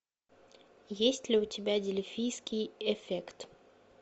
есть ли у тебя дельфийский эффект